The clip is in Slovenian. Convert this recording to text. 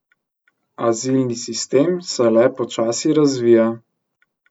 Azilni sistem se le počasi razvija.